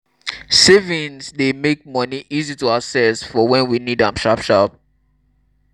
savings dey make money easy to access for when we need am sharp sharp